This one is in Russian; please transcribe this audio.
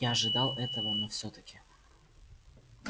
я ожидал этого но всё таки